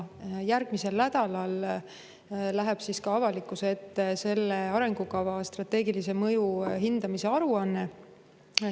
Järgmisel nädalal läheb avalikkuse ette selle arengukava strateegilise mõju hindamise aruanne.